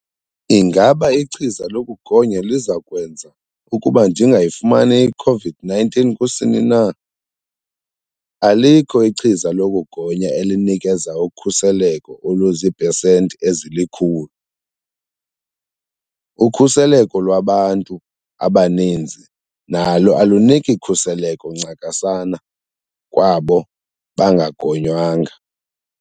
Ingaba ichiza lokugonya lizakwenza ukuba ndingayifumani i-COVID-19 kusini na? Alikho ichiza lokugonya elinikeza ukhuseleko oluzii pesenti ezili-100. Ukhuseleko lwabantu abaninzi nalo aluniki khuseleko ncakasana kwabo bangagonywanga.